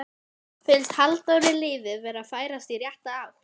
Finnst Halldóri liðið vera að færast í rétta átt?